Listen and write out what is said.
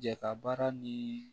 Ja ka baara ni